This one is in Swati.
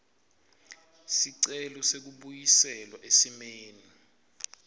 sicelo sekubuyiselwa esimeni